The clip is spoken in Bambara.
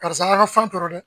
Karisa an ka fan tɔɔrɔ dɛ.